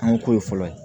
An ko ye fɔlɔ ye